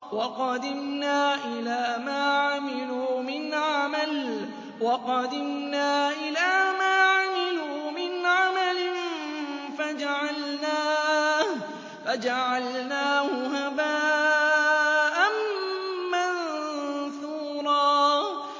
وَقَدِمْنَا إِلَىٰ مَا عَمِلُوا مِنْ عَمَلٍ فَجَعَلْنَاهُ هَبَاءً مَّنثُورًا